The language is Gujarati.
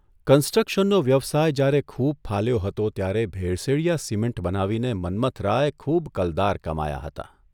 કન્સ્ટ્રક્શનનો વ્યવસાય જ્યારે ખૂબ ફાલ્યો હતો ત્યારે ભેળસેળીયા સિમેન્ટ બનાવીને મન્મથરાય ખૂબ કલદાર કમાયા હતા.